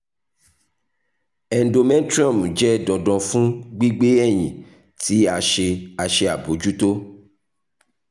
endometrium jẹ dandan fun gbigbe ẹyin ti a ṣe a ṣe abojuto